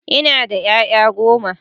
Ina da ƴaƴa goma.